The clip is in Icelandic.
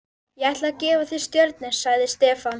Ég ætla að gefa þér Stjörnu, sagði Stefán.